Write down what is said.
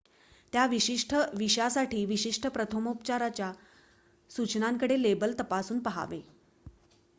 त्या विशिष्ट विषा साठी विशिष्ट प्रथमोपचाराच्या सूचनांचे लेबल तपासून पहावे